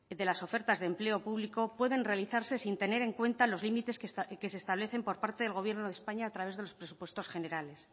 de las ofertas de empleo público pueden realizarse sin tener en cuenta los límites que se establecen por parte del gobierno de españa a través de los presupuestos generales